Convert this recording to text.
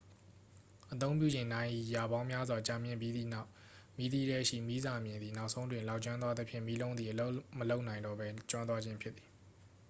အသုံးပြုချိန် နာရီရာပေါင်းများစွာ ကြာမြင့်ပြီးသည့်နောက် မီးသီးထဲရှိ မီးစာမျှင်သည် နောက်ဆုံးတွင် လောင်ကျွမ်းသွားသဖြင့် မီးလုံးသည် အလုပ်မလုပ်နိုင်တော့ပဲ ကျွမ်းသွားခြင်းဖြစ်သည်